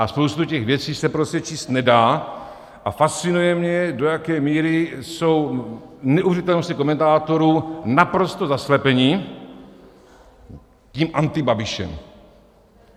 A spousta těch věcí se prostě číst nedá a fascinuje mě, do jaké míry jsou neuvěřitelnosti komentátorů naprosto zaslepené tím Antibabišem.